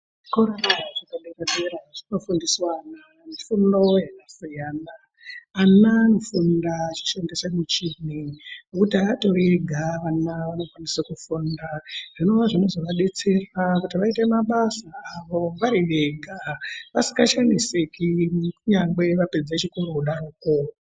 Zvikora zvepadera-dera zvinofundiswa ana fundo yakasiyana. Ana anofunda achishandise michini, ngokuti atori ega vana vanokwanise kufunda. Zvinova zvinozovadetsera kuti vaite mabasa avo vari vega, vasikashamisiki kunyangwe vapedze chikoro kudaroko.